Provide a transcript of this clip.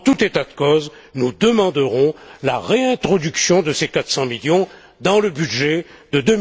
En tout état de cause, nous demanderons la réintroduction de ces 400 millions dans le budget de